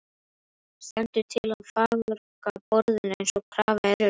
Stendur til að farga borðinu eins og krafa er um?